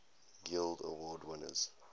guild award winners